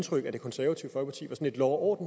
kort